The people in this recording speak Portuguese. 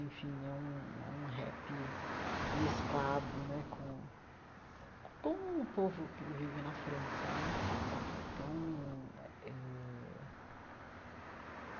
Enfim, é um é um rap mesclado né com o com o povo que vive na França né então eh.